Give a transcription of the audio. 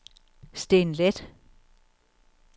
Steen Leth